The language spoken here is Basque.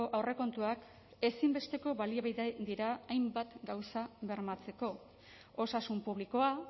aurrekontuak ezinbesteko baliabide dira hainbat gauza bermatzeko osasun publikoa